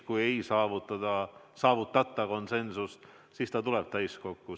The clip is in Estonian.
Kui ei saavutatakonsensust, siis see tuleb täiskokku.